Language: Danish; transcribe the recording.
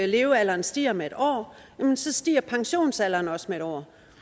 levealderen stiger med en år så stiger pensionsalderen også med en år